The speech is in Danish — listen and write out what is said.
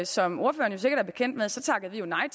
som ordføreren sikkert er bekendt med så takkede vi jo nej